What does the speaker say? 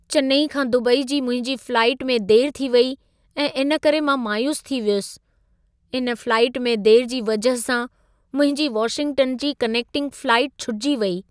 चेन्नई खां दुबई जी मुंहिंजी फ़्लाइट में देरी थी वेई ऐं इन करे मां मायूस थी वियुसि। इन फ़्लाइट में देरी जी वजह सां मुंहिंजी वाशिंगटन जी कनेक्टिंग फ़्लाइट छुटिजी वेई।